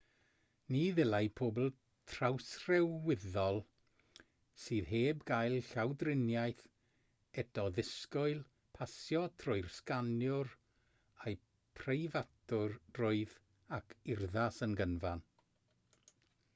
ni ddylai pobl trawsryweddol sydd heb gael llawdriniaeth eto ddisgwyl pasio trwy'r sganwyr â'u preifatrwydd ac urddas yn gyfan